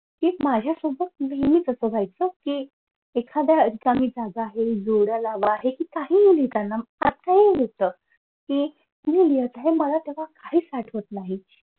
कि माझ्यासोबत नेहमीच असं व्हायचं कि एखाद्या चांगली जागा आहे कि जोड्या लावा आहे कि काहीही लिहिताना लिहित कि हे मला काहीच आठवत नाही.